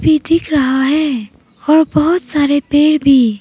P दिख रहा है और बहुत सारे पेड़ भी।